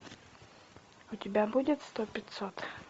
у тебя будет сто пятьсот